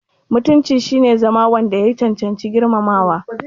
Mutunci shine ingancin zama wanda ya cancanci girmamawa.